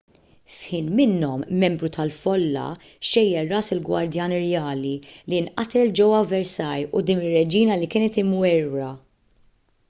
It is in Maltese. f'ħin minnhom membru tal-folla xejjer ras il-gwardjan irjali li nqatel ġewwa versailles quddiem ir-reġina li kienet imwerwra